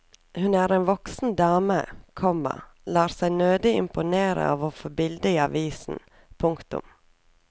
Hun er en voksen dame, komma lar seg nødig imponere av å få bildet i avisen. punktum